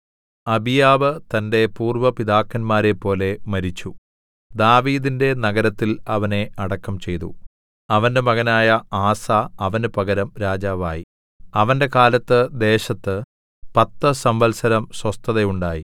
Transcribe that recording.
അബീയാവ് തന്റെ പൂര്‍വ്വ പിതാക്കന്മാരെപ്പോലെ മരിച്ചു ദാവീദിന്റെ നഗരത്തിൽ അവനെ അടക്കം ചെയ്തു അവന്റെ മകനായ ആസാ അവന് പകരം രാജാവായി അവന്റെ കാലത്ത് ദേശത്ത് പത്തു സംവത്സരം സ്വസ്ഥത ഉണ്ടായി